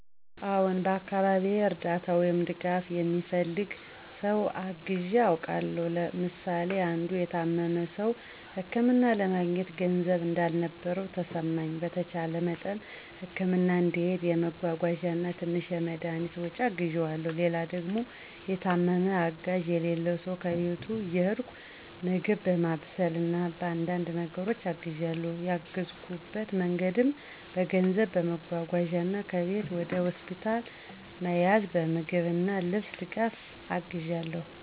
አዎን፣ በአካባቢዬ እርዳታ ወይም ድጋፍ የሚፈልግ ሰው አግዠ አውቃለሁ። ምሳሌ አንዱ የታመመ ሰው ህክምና ለማግኘት ገንዘብ እንዳልነበረው ተሰማኝ፣ በተቻለ መጠን ህክምና እንዲሄድ የመጓጓዣ እና ትንሽ የመድኃኒት ወጪ አግዠዋለሁ። ሌላ ደግም የታመመ አጋዠ የሌለው ሰው ከቤት እየሄድኩ ምግብ በማብሰል እና በአንዳንድ ነገሮች አግዣለሁ። ያገዠኩበት መንገድም በገንዘብ, በመጓጓዣ እና ከቤት ወደ ሆስፒታል መያዝ፣ በምግብ እና ልብስ ድጋፍ አግዣለሁ